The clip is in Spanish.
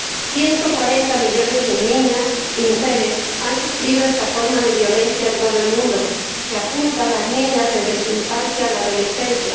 140 millones de niñas y mujeres han sufrido esta forma de violencia en el todo el mundo, que apunta a las niñas desde su infancia a la adolescencia.